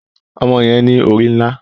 Ọmọ yẹn ní orí nlá